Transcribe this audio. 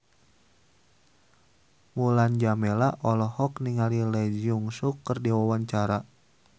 Mulan Jameela olohok ningali Lee Jeong Suk keur diwawancara